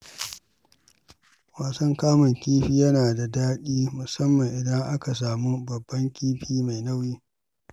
Wasan kamun kifi yana da daɗi, musamman idan aka samu babban kifi mai nauyi.